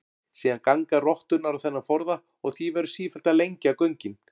Síðan ganga rotturnar á þennan forða og því verður sífellt að lengja göngin.